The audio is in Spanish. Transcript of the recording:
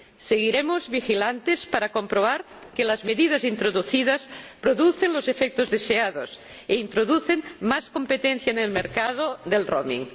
Seguiremos vigilantes para comprobar que las medidas introducidas producen los efectos deseados e introducen más competencia en el mercado de la itinerancia.